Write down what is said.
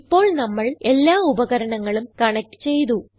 ഇപ്പോൾ നമ്മൾ എല്ലാ ഉപകരണങ്ങളും കണക്റ്റ് ചെയ്തു